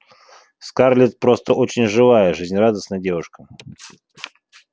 скарлетт просто очень живая жизнерадостная девушка